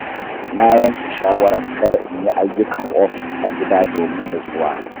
Na yanke shawarar kada in yi ayyukan ofis a gida domin natsuwa.